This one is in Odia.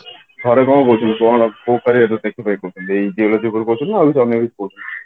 ଘରେ କଣ କହୁଛନ୍ତି କୋଉ ଏଇ geology ଉପରେ ନା ଆଉ କିଛି ଅନ୍ୟ ବି